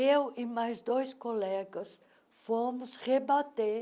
Eu e mais dois colegas fomos rebater